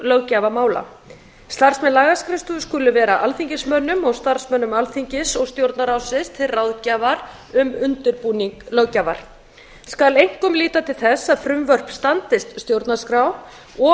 löggjafarmála starfsmenn lagaskrifstofu skulu vera alþingismönnum og starfsmönnum alþingis og stjórnarráðsins til ráðgjafar um undirbúning löggjafar skal einkum líta til þess að frumvörp standist stjórnarskrá og